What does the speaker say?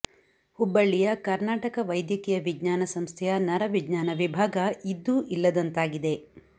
ಹುಬ್ಬಳ್ಳಿಯ ಕರ್ನಾಟಕ ವೈದ್ಯಕೀಯ ವಿಜ್ಞಾನ ಸಂಸ್ಥೆಯ ನರ ವಿಜ್ಞಾನ ವಿಭಾಗ ಇದ್ದು ಇಲ್ಲದಂತಾಗಿದೆ